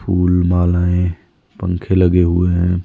फूल मालाएं पंखे लगे हुए हैं।